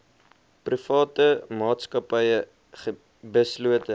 private maatskappye beslote